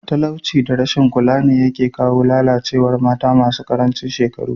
Talauci da rashin kula ne yake kawo lalacewar mata masu karancin shekaru.